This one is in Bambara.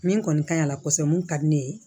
Min kɔni ka ɲi a la kosɛbɛ mun ka di ne ye